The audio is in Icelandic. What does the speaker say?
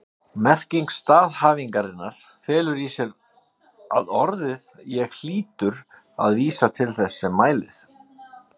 Merking staðhæfingarinnar felur í sér að orðið ég hlýtur að vísa til þess sem mælir.